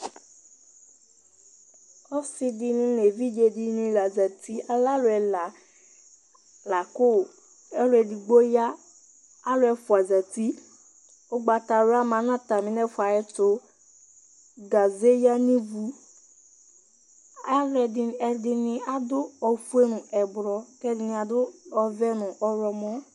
Ɔsɩ dɩnɩ nʋ evidzenɩ la zati, alɛ alʋ ɛla la kʋ ɔlʋ edigbo ya, alʋ ɛfʋa zati Ʋgbatawla ma nʋ atamɩ nʋ ɛfʋa yɛ tʋ Gaze yǝ nʋ ivu Alʋɛdɩnɩ ɛdɩnɩ adʋ ofue nʋ ɛblɔ kʋ ɛdɩnɩ adʋ ɔvɛ nʋ ɔɣlɔmɔ